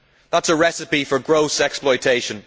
That is a recipe for gross exploitation.